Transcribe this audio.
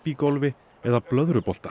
frisbígolfi eða